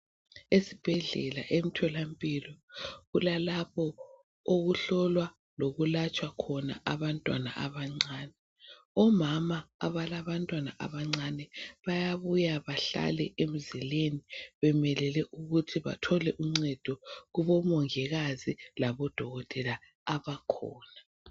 Esibhedlela ethola mpilo kulapho okuhlolwa lokulatshwa khona abantwana abancane omama abalabantwana abancane bayabuya bahlale emzileni bemelele ukuthi bathole uncedo kubomongikazi labo dokotela abakhona